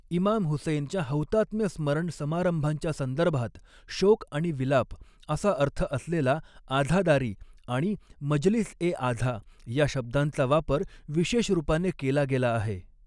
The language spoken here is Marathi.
इमाम हुसैनच्या हौतात्म्य स्मरण समारंभांच्या संदर्भात, शोक आणि विलाप असा अर्थ असलेला 'आझादारी' आणि 'मजलिस ए आझा' या शब्दांचा वापर विशेषरूपाने केला गेला आहे.